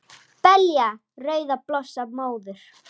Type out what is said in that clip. Belja rauðar blossa móður